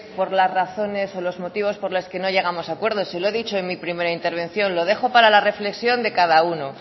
por la razones o los motivos por las que no llegamos a acuerdo se lo he dicho en mi primera intervención lo dejo para la reflexión de cada uno